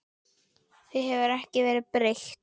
Því hefur ekki verið breytt.